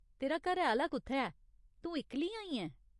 तेरा घरै आह्‌ला कु'त्थै ऐ, तू इक्कली आई ऐं?